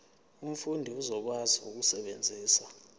umfundi uzokwazi ukusebenzisa